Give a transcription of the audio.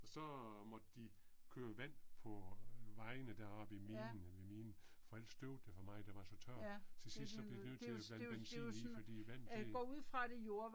Og så måtte de køre vand på vejene deroppe i minen æh ved minen for ellers støvede det for meget der var så tørt, til sidst så blev de nødt til at blande benzin i fordi vandet det